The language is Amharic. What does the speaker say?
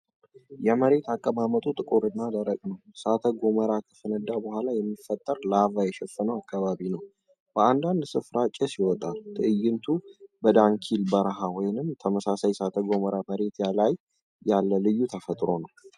የመሬት አቀማመጡ ጥቁር እና ደረቅ ነው። እሳተ ገሞራ ከፈነዳ በኋላ የሚፈጠር ላቫ የሸፈነው አካባቢ ነው። በአንዳንድ ሥፍራ ጭስ ይወጣል። ትዕይንቱ በዳናኪል በረሃ ወይም ተመሳሳይ የእሳተ ገሞራ መሬት ላይ ያለ ልዩ ተፈጥሮ ነው።